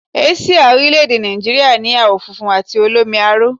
Àsìá orílẹ̀èdè Nàìjíríà ni àwọ̀ funfun àti olómi aró